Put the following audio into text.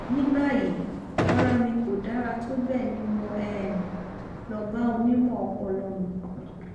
ní báyìí ara mi kò dára tó bẹẹ ni mo um lọ bá onímọ ọpọlọ mi